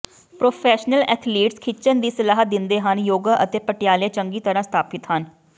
professional athletes ਖਿੱਚਣ ਦੀ ਸਲਾਹ ਦਿੰਦੇ ਹਨ ਯੋਗਾ ਅਤੇ ਪਟਿਆਲੇ ਚੰਗੀ ਤਰ੍ਹਾਂ ਸਥਾਪਿਤ ਹਨ